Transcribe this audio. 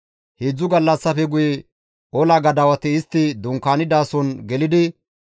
Heedzdzu gallassafe guye ola gadawati istti dunkaanidason gelidi,